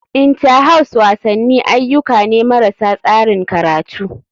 Inter house wasanni ayyuka ne marasa tsarin karatu.